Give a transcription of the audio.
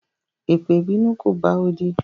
Epe ìbínú ko bá odi